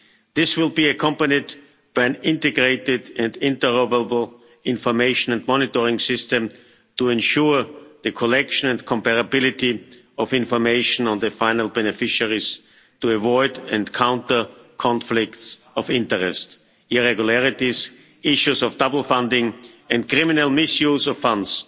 This will be accompanied by an integrated and interoperable information and monitoring system to ensure the collection and comparability of information on the final beneficiaries, to avoid and counter conflicts of interest, irregularities, issues of double funding and criminal mis use of funds.